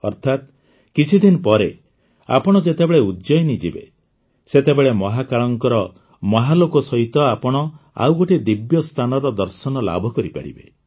ଅର୍ଥାତ କିଛିଦିନ ପରେ ଆପଣ ଯେତେବେଳେ ଉଜ୍ଜୟିନୀ ଯିବେ ସେତେବେଳେ ମହାକାଳଙ୍କ ମହାଲୋକ ସହିତ ଆପଣ ଆଉ ଗୋଟିଏ ଦିବ୍ୟ ସ୍ଥାନର ଦର୍ଶନ ଲାଭ କରିପାରିବେ